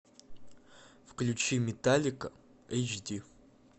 включи металлика эйч ди